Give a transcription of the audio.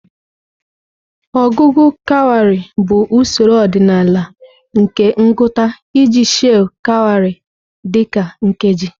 Ọgụgụ kawarị bụ usoro ọdịnala nke ngụta iji sheị̀ kawarị dị ka nkeji.